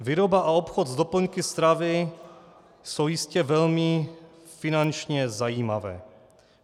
Výroba a obchod s doplňky stravy jsou jistě velmi finančně zajímavé.